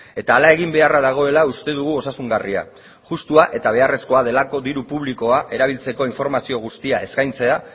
eta hala egin beharra dagoela uste dugu osasungarria justua eta beharrezkoa delako diru publikoa erabiltzeko informazio guztia eskaintzea